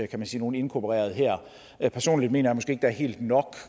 kan man sige nogle inkorporeret her personligt mener